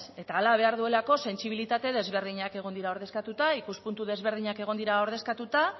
eta hala behar duelako sentsibilitate ezberdinak egon dira ordezkatuta ikuspuntu ezberdinak egon dira ordezkatuta